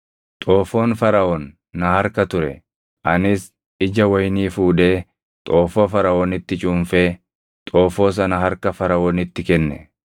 Xoofoon Faraʼoon na harka ture; anis ija wayinii fuudhee xoofoo Faraʼoonitti cuunfee xoofoo sana harka Faraʼoonitti kenne.”